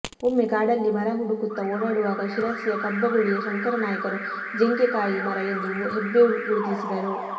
ಒಮ್ಮೆ ಕಾಡಲ್ಲಿ ಮರ ಹುಡುಕುತ್ತ ಓಡಾಡುವಾಗ ಶಿರಸಿಯ ಕಬ್ಬಗುಳಿಯ ಶಂಕರ ನಾಯ್ಕರು ಜಿಂಕೆಕಾಯಿ ಮರ ಎಂದು ಹೆಬ್ಬೇವು ಗುರುತಿಸಿದರು